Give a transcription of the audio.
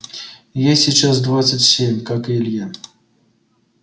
ей сейчас двадцать семь как и илье